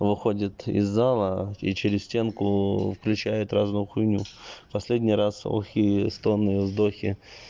выходит из зала и через стенку включает разную хуйню последний раз охи стоны вдохи